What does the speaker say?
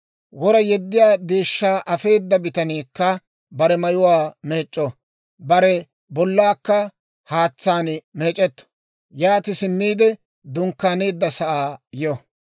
«Wora yeddiyaa deeshshaa afeeda bitaniikka bare mayuwaa meec'c'o; bare bollaakka haatsaan meec'etto. Yaati simmiide dunkkaaneeddasaa yo.